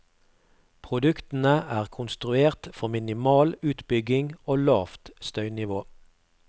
Produktene er konstruert for minimal utbygging og lavt støynivå.